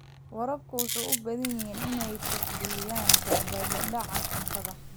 Waraabka wuxuu u baahan yahay inuu tixgeliyo badbaadada cuntada.